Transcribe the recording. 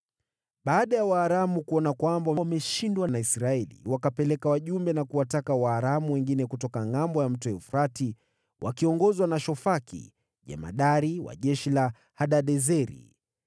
Baada ya Waaramu kuona kwamba wameshindwa na Israeli, wakapeleka wajumbe na kuwataka Waaramu wengine kutoka ngʼambo ya Mto Frati, wakiongozwa na Shofaki, jemadari wa jeshi la Hadadezeri.